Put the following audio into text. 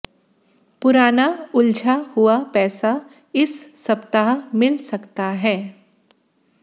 पुराना उलझा हुआ पैसा इस सप्ताह मिल सकता है